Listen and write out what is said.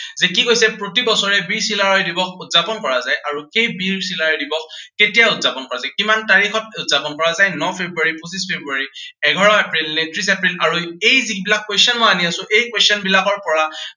যে কি কৈছে প্ৰতি বছৰে বীৰ চিলাৰায় দিৱস উদযাপন কৰা যায়। আৰু এই বীৰ চিলাৰায় দিৱস কেতিয়া উদযাপন কৰা যায়। কিমান তাৰিখত উদযাপন কৰা হয়, ন ফেব্ৰুৱাৰী, পঁচিশ ফেব্ৰুৱাৰী, এঘাৰ এপ্ৰিল নে ত্ৰিশ এপ্ৰিল। আৰু এই যিবিলাক question মই আনি আছো, এই question বিলাকৰ পৰা